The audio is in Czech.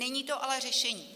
Není to ale řešení.